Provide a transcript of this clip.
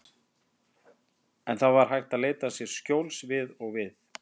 En það var hægt að leita sér skjóls við og við.